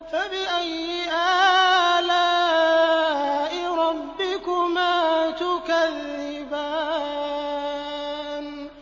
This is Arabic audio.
فَبِأَيِّ آلَاءِ رَبِّكُمَا تُكَذِّبَانِ